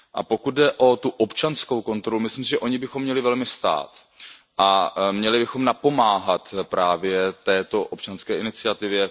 Pokud jde o tu občanskou kontrolu, myslím si, že o ni bychom měli velmi stát a měli bychom napomáhat právě této občanské iniciativě.